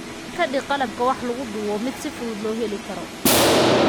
Ka dhig qalabka wax lagu duubo mid si fudud loo heli karo.